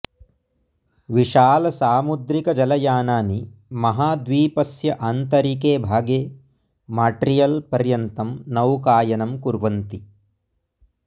विशालसामुद्रिकजलयानानि महाद्वीपस्य आन्तरिके भागे मॉट्रियल् पर्यन्तं नौकायनं कुर्वन्ति